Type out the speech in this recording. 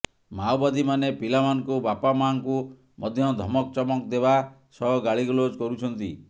ମାଓବାଦୀମାନେ ପିଲାମାନଙ୍କୁ ବାପାମାଆଙ୍କୁ ମଧ୍ୟ ଧମକଚମକ ଦେବା ସହ ଗାଳିଗୁଲଜ କରୁଛନ୍ତି